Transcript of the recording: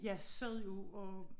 Jeg sad jo og